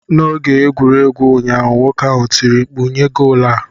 N'oge egwuregwu ụnyaahụ, nwoke ahụ tiri mkpu, "nyee goolu a!'